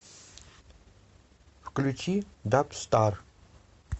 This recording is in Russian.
включи дабстар